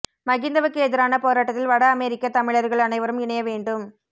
மகிந்தவுக்கு எதிரான போராட்டத்தில் வட அமெரிக்க தமிழர்கள் அனைவரும் இணைய வேண்டும்